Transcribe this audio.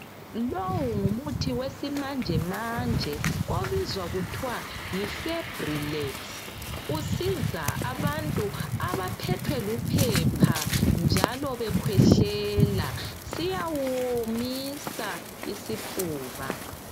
Lowu ngumuthi wesimanjemanje ubizwa kuthiwe Yi febrilex, usiza abantu abaphethwe luphepha njalo bekhwehlela, siyawuwomisisa isifuba.